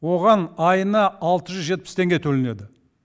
оған айына алты жүз жетпіс теңге төленеді